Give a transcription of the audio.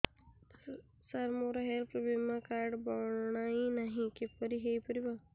ସାର ମୋର ହେଲ୍ଥ ବୀମା କାର୍ଡ ବଣାଇନାହିଁ କିପରି ହୈ ପାରିବ